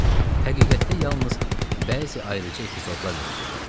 Həqiqətdə yalnız bəzi ayrı-ayrı epizodlar mühim idi.